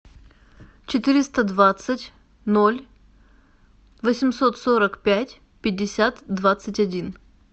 четыреста двадцать ноль восемьсот сорок пять пятьдесят двадцать один